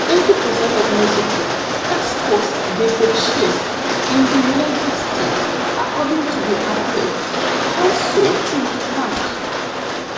eighty per cent of mexico exports dey purchased in di united states according to di atlantic council think tank.